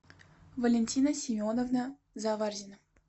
валентина семеновна заварзина